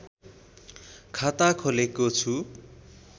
खाता खोलेको छु